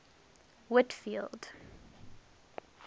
whitfield